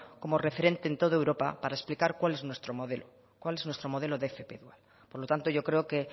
como referente en todo europa para explicar cuál es nuestro modelo cuál es nuestro modelo de fp por lo tanto yo creo que